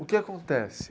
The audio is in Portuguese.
O que acontece?